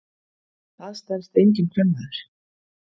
Það stenst enginn kvenmaður.